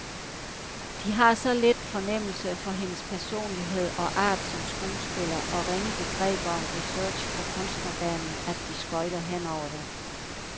De har så lidt fornemmelse for hendes personlighed og art som skuespiller og ringe begreber om research på kunstnerbanen, at de skøjter henover den.